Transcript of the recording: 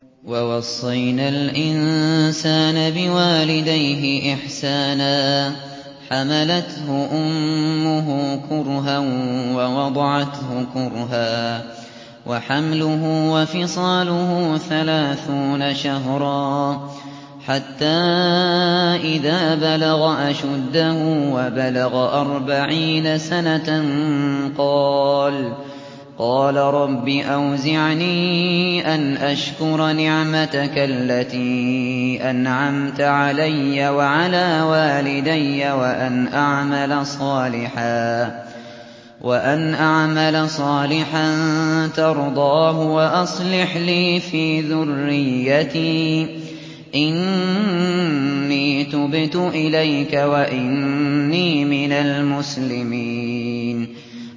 وَوَصَّيْنَا الْإِنسَانَ بِوَالِدَيْهِ إِحْسَانًا ۖ حَمَلَتْهُ أُمُّهُ كُرْهًا وَوَضَعَتْهُ كُرْهًا ۖ وَحَمْلُهُ وَفِصَالُهُ ثَلَاثُونَ شَهْرًا ۚ حَتَّىٰ إِذَا بَلَغَ أَشُدَّهُ وَبَلَغَ أَرْبَعِينَ سَنَةً قَالَ رَبِّ أَوْزِعْنِي أَنْ أَشْكُرَ نِعْمَتَكَ الَّتِي أَنْعَمْتَ عَلَيَّ وَعَلَىٰ وَالِدَيَّ وَأَنْ أَعْمَلَ صَالِحًا تَرْضَاهُ وَأَصْلِحْ لِي فِي ذُرِّيَّتِي ۖ إِنِّي تُبْتُ إِلَيْكَ وَإِنِّي مِنَ الْمُسْلِمِينَ